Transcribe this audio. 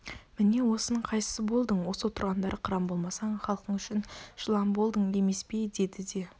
міне осының қайсысы болдың осы отырғандар қыран болмасаң халқың үшін жылан болдың емес пе деді де